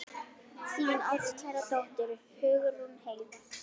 Þín ástkæra dóttir, Hugrún Heiða.